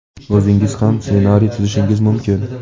o‘zingiz ham ssenariy tuzishingiz mumkin.